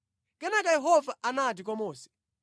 Kenaka Yehova anati kwa Mose,